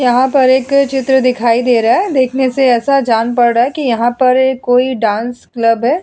यहां पर एक चित्र दिखाई दे रहा है। देखने से ऐसा जान पड़ रहा है कि यहां पर कोई डांस क्लब है।